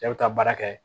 Cɛ bɛ taa baara kɛ